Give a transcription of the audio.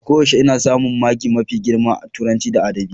A koyaushe ina samun maki mafi girma a Turanci da Adabi.